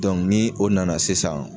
ni o nana sisan